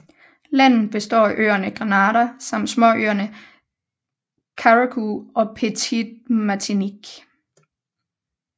Landet består af øerne Grenada samt småøerne Carriacou og Petite Martinique